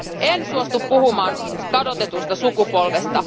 En suostu puhumaan kadotetusta sukupolvesta.